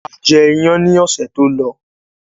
A jẹ iyán ni ọ̀sẹ̀ tó lọ